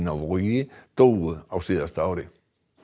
á Vogi dóu á síðasta ári